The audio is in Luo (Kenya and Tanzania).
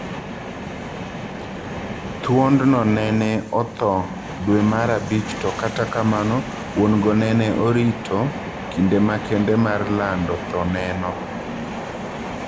Thuond no nene othoo dwee mar abich to kata kamano wuon go nene orito kinde makende mar lando thoo neno.